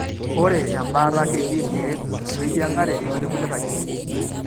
Ore embaata ketii irkeek oeyieng'are otekulie katitin.